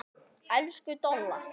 Elsku Dolla.